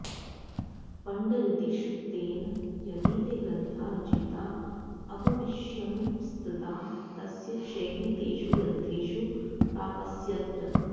पण्डरिदीक्षितेन यदि ते ग्रन्था रचिता अभविष्यंस्तदा तस्य शैली तेषु ग्रन्थेषु प्राप्स्यत